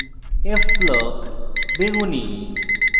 f block – বেগুনী